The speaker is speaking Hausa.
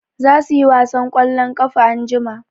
Za su yi wasan ƙwallon ƙafa anjima.